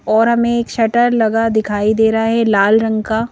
और हमें एक शटर लगा दिखाई दे रहा है लाल रंग का।